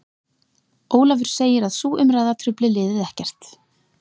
Ólafur segir að sú umræða trufli liðið ekkert.